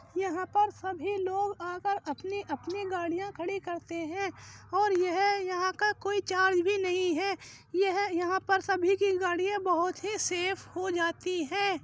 यहां पर सभी लोग आकर अपनी-अपनी गड़ियाँ खड़ी करते हैं और यह यहां का कोई चार्ज भी नहीं है। यह यहां पर सभी की गड़ियां बहोत ही सेफ हो जाती हैं।